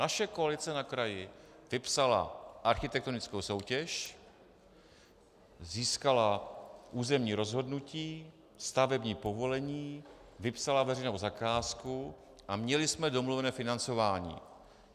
Naše koalice na kraji vypsala architektonickou soutěž, získala územní rozhodnutí, stavební povolení, vypsala veřejnou zakázku a měli jsme domluvené financování.